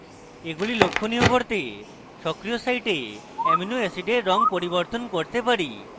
আমরা এগুলি লক্ষনীয় করতে সক্রিয় site অ্যামাইনো অ্যাসিডের রঙ পরিবর্তন করতে পারি